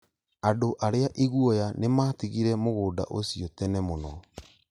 Andũ arĩa iguoya nĩmatigire mũgũnda ũcio tene mũno